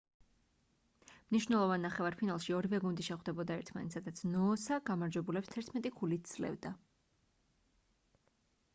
მნიშნველოვან ნახევარფინალში ორივე გუნდი შეხვდებოდა ერთმანეთს სადაც ნოოსა გამარჯვებულებს 11 ქულით სძლევდა